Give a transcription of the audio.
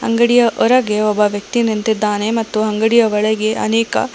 ಅಂಗಡಿಯ ಹೊರಗೆ ಒಬ್ಬ ವ್ಯಕ್ತಿ ನಿಂತಿದ್ದಾನೆ ಮತ್ತು ಅಂಗಡಿ ಒಳಗೆ ಅನೇಕ--